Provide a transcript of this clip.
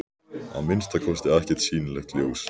Að minnsta kosti ekkert sýnilegt ljós.